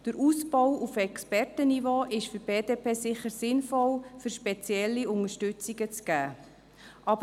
Der Ausbau auf Expertenniveau ist für die BDP sicher sinnvoll, um spezielle Unterstützungen zu geben.